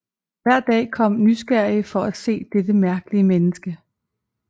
Hver dag kom nysgerrige for at se dette mærkelige menneske